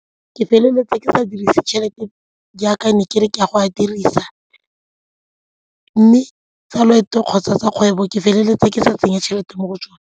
Ke feleletsa ke sa dirise tšhelete jaaka ne ke re ke a go a dirisa mme tsa kgwebo ke feleletsa ke sa tseya tšhelete mo go tsone.